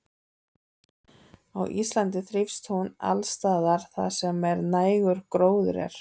Á Íslandi þrífst hún alls staðar þar sem nægur gróður er.